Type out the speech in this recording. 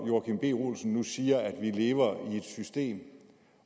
joachim b olsen nu siger at vi lever i et system